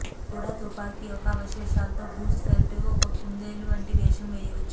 కూడా తుపాకీ యొక్క అవశేషాలు తో గూస్ పెల్ట్ ఒక కుందేలు వంటి వేషం చేయవచ్చు